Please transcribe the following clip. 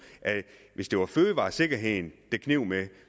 hvis det var fødevaresikkerheden det kneb med